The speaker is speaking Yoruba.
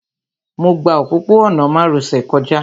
Mo gba òpópó-ọ̀nà márosẹ̀ kọjá